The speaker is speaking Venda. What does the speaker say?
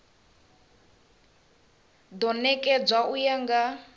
do nekedzwa u ya nga